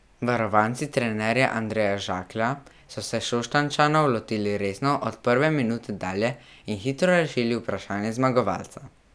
Varovanci trenerja Andreja Žaklja so se Šoštanjčanov lotili resno od prve minute dalje in hitro rešili vprašanje zmagovalca.